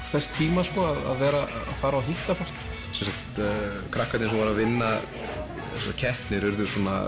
þess tíma að fara og hitta fólk krakkarnir sem voru að vinna þessar keppnir urðu svona